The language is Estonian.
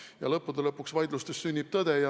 Ja lõppude lõpuks vaidlustes sünnib tõde.